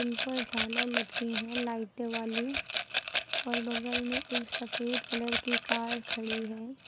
ऊपर झालर लटके है लाइट वाली और बगल में एक सफेद कलर की कार खड़ी है।